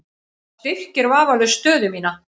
Það styrkir vafalaust stöðu mína.